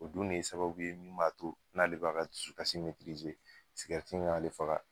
O dun de ye sababu ye min b'a to n'ale b'a ka dusukasi in y'ale faga.